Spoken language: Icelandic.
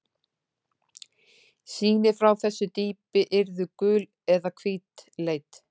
Sýni frá þessu dýpi yrðu gul eða hvítleit.